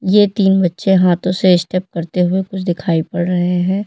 ये तीन बच्चे हाथों से स्टेप करते हुए कुछ दिखाई पड़ रहे हैं।